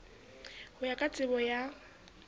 ho ya ka tsebo ya